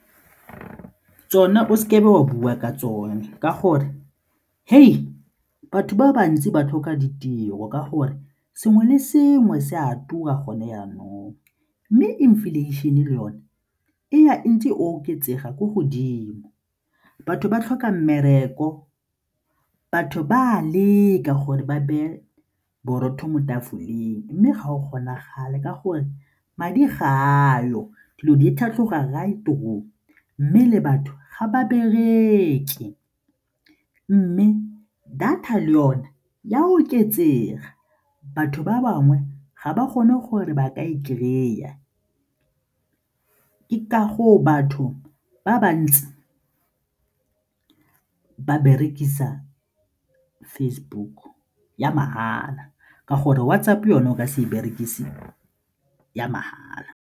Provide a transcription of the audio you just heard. Tsona, o seke be wa bua ka tsone ka gore batho ba bantsi ba tlhoka ditiro ka gore sengwe le sengwe se a tura gone jaanong mme inflation-e le yone e ya e ntse e oketsega ko godimo. Batho ba tlhoka mmereko, batho ba a leka gore ba beye borotho mo tafoleng mme ga o kgonagale ka gore madi ga ayo, dilo di tlhatlhoga mme le batho ga ba bereke. Mme data le yone e a oketsega, batho ba bangwe ga ba kgone gore ba ka e kry-a, ke ka goo batho ba ba ntsi ba berekisa Facebook ya mahala ka gore WhatsApp-o yone o ka se e berekise ya mahala.